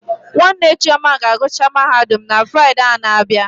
Nwanne Chioma ga agụcha Mahadum na Fride a na abịa